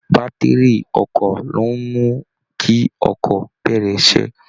Bátìrì ọkọ̀ ló ń mú kí ọkọ̀ bẹ̀rẹ̀ iṣẹ́